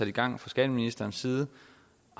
i gang fra skatteministerens side